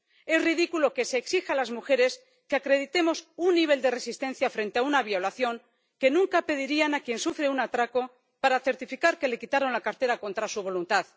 Es ridículo que se exija a las mujeres que acreditemos un nivel de resistencia frente a una violación que nunca pedirían a quien sufre un atraco para certificar que le quitaron la cartera contra su voluntad.